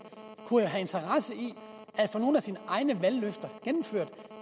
kunne have interesse i at få nogle af sine egne valgløfter indfriet